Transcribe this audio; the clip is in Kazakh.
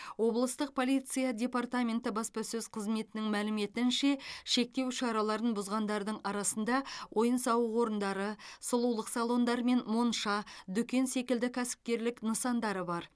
облыстық полиция департаменті баспасөз қызметінің мәліметінше шектеу шараларын бұзғандардың арасында ойын сауық орындары сұлулық салондары мен монша дүкен секілді кәсіпкерлік нысандары бар